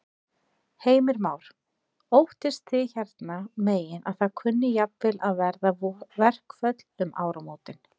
Heimir Már: Óttist þið hérna megin að það kunni jafnvel að verða verkföll um áramótin?